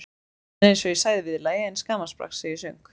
En eins og ég sagði í viðlagi eins gamanbrags sem ég söng